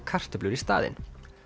kartöflur í staðinn